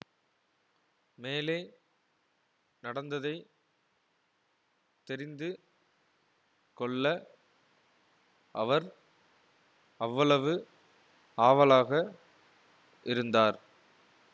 மேலே நடந்ததை தெரிந்து கொள்ள அவர் அவ்வளவு ஆவலாக இருந்தார்